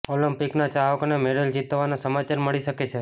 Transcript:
ઓલિમ્પિકના ચાહકોને મેડલ જીતવાના સમાચાર મળી શકે છે